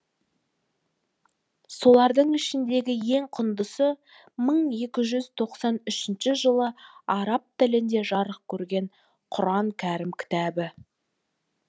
солардың ішіндегі ең құндысы мың екі жүз тоқсан үшінші жылы араб тілінде жарық көрген құран кәрім кітабы